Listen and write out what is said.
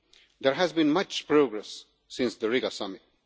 There has been much progress since the Riga summit.